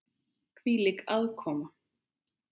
Hvílík aðkoma!